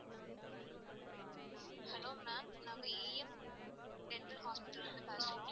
Hello ma'am நாங்க a m general hospital ல இருந்து பேசுறோம்.